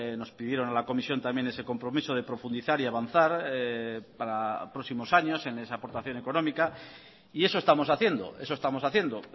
nos pidieron a la comisión también ese compromiso de profundizar y avanzar para próximos años en esa aportación económica y eso estamos haciendo eso estamos haciendo